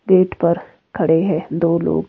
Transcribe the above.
Gate पर खड़े है दो लोग।